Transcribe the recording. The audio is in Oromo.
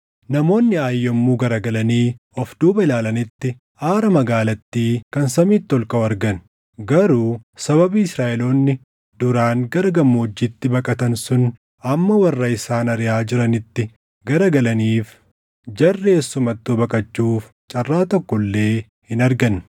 Namoonni Aayi yommuu garagalanii of duuba ilaalanitti aara magaalattii kan samiitti ol kaʼu argan; garuu sababii Israaʼeloonni duraan gara gammoojjiitti baqatan sun amma warra isaan ariʼaa jiranitti garagalaniif, jarri eessumattuu baqachuuf carraa tokko illee hin arganne.